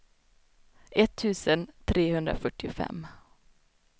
etttusen trehundrafyrtiofem